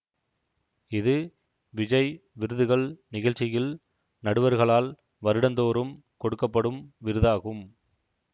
இது விஜய் விருதுகள் நிகழ்ச்சியில் நடுவர்களால் வருடந்தோறும் கொடுக்க படும் விருதாகும்